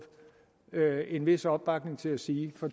jo en vis opbakning til at sige for